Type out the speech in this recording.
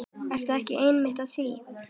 Ertu ekki einmitt að því?